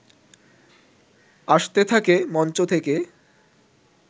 আসতে থাকে মঞ্চ থেকে